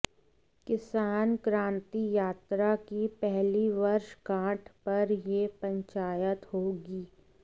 किसान क्रांति यात्रा की पहली वर्षगांठ पर यह पंचायत होगी